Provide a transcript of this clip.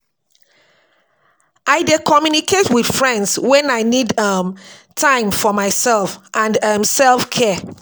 I dey communicate with friends wen I need um time for um myself and um self-care.